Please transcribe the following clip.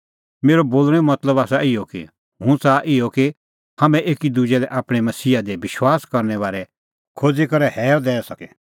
मेरअ बोल़णैंओ मतलब आसा इहअ कि हुंह च़ाहा इहअ कि हाम्हैं एकी दुजै लै आपणैं मसीहा दी विश्वास करने बारै खोज़ी करै हैअ दैई सके